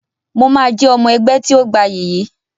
Mo máa jẹ́ ọmọ ẹgbẹ́ tí ó gbayì yìí